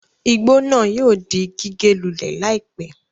Igbó náà yóò di gígé lulẹ̀ láìpé